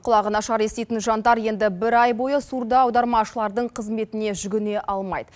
құлағы нашар еститін жандар енді бір ай бойы суырда аудармашылардың қызметіне жүгіне алмайды